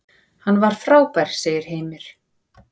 Hann var frábær, sagði Heimir.